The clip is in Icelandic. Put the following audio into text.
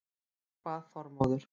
Þá kvað Þormóður